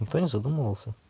никто не задумывался